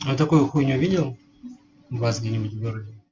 а такую хуйню видел у вас где-нибудь в городе